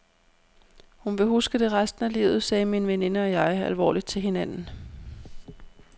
Hun vil huske det resten af livet, sagde min veninde og jeg alvorligt til hinanden.